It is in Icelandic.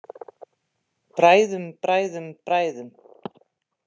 Bræðum, bræðum, bræðum.